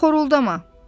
Xoruldama.